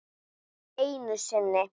Einu sinni.